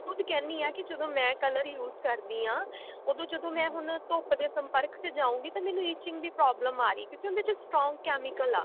ਕਹਿੰਦੀ ਹਾਂ ਕਿ ਜਦੋਂ ਮੈਂ color use ਕਰਦੀ ਹਾਂ ਉਦੋ ਜਦੋਂ ਮੈਂ ਹੁਣ ਧੁੱਪ ਦੇ ਸੰਪਰਕ ਚ ਜਾਊਂਗੀ ਤਾਂ ਮੈਨੂੰ itching ਦੀ problem ਆ ਰਹੀ ਕਿਉਂਕਿ ਉਹਦੇ ਵਿੱਚ strong chemical ਆ